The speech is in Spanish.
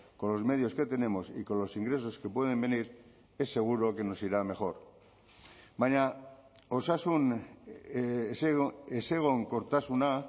con los medios que tenemos y con los ingresos que pueden venir es seguro que nos irá mejor baina osasun ezegonkortasuna